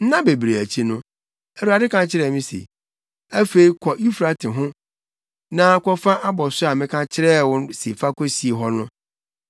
Nna bebree akyi no, Awurade ka kyerɛɛ me se, “Afei kɔ Eufrate ho na kɔfa abɔso a meka kyerɛɛ wo se fa kosie hɔ no.”